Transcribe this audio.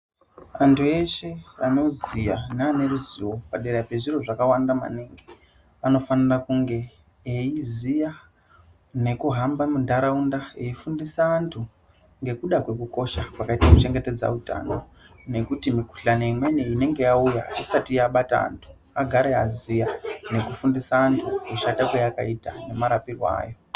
Antu eshe anoziya neaneruzivo padera pezviro zvakawanda maningi ,vanofanira kunge eyiziya nekuhamba mundaraunda, eyi fundisa antu ngekuda kwekukosha kwakayita kuchengetedza utano, nokuti mukuhlani imweni inenge yauya isati yabata antu agare aziya nokufundisa antu kushata kwayakaita nemarapirwe ayo.